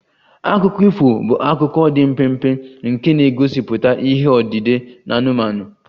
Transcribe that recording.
Akụkọ ifo bụ akụkọ dị mpempe nke na-egosipụta ihe odide anụmanụ